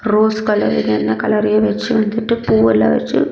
Rose colour இது எல்லா கலரயும் வெச்சி வந்துட்டு பூவெல்லாம் வெச்சி.